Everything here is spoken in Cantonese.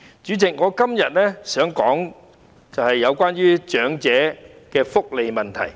主席，我今天想說的是有關於長者的福利問題。